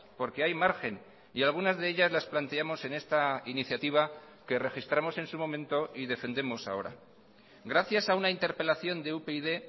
porque hay margen y algunas de ellas las planteamos en esta iniciativa que registramos en su momento y defendemos ahora gracias a una interpelación de upyd